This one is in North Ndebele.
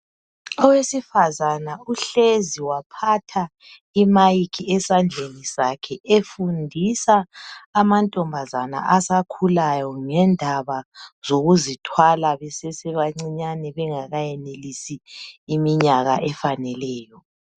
Owesifazana uhlezi waphatha imic esandleni sakhe efundisa amankazana asakhulayo ngendaba zokuzithwala besese bancinyane bengaka yenelisi iminyaka efaneleyo.